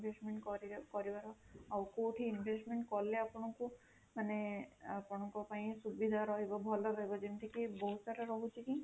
investment କରିବା କରିବାର ଆଉ କୋଉଠି investment କଲେ ଆପଣଙ୍କୁ ମାନେ ଆପଣଙ୍କ ପାଇଁ ସୁବିଧା ରହିବ ଭଲ ରହିବ ଯେମିତି କି ବହୁତ ସାରା ରହୁଛି କି